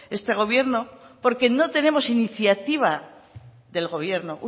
este gobierno porque no tenemos iniciativa del gobierno